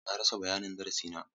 Na rasa bayanin darasi na.